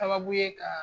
Sababu ye ka